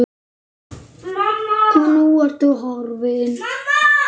Og nú ertu horfin.